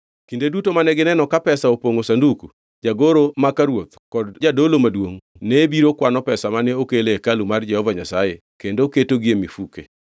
Kinde duto mane gineno ka pesa opongʼo sanduku, jagoro maka ruoth kod jadolo maduongʼ ne biro kwano pesa mane okel e hekalu mar Jehova Nyasaye kendo ketogi e mifuke.